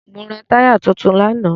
Mo ra táyà tuntun lánàá.